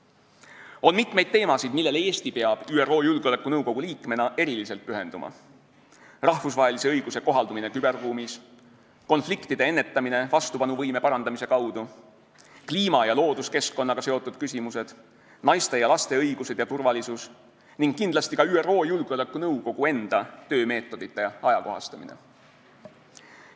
On mitmeid teemasid, millele Eesti peab ÜRO Julgeolekunõukogu liikmena eriliselt pühenduma: rahvusvahelise õiguse kohaldumine küberruumis, konfliktide ennetamine vastupanuvõime parandamise kaudu, kliima ja looduskeskkonnaga seotud küsimused, naiste ja laste õigused ja turvalisus ning kindlasti ka ÜRO Julgeolekunõukogu enda töömeetodite ajakohastamine.